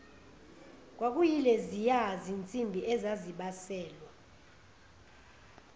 kwakuyileziya zinsimbi ezazibaselwa